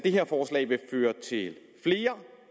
det her forslag vil føre til flere